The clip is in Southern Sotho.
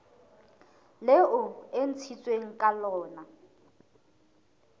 leo e ntshitsweng ka lona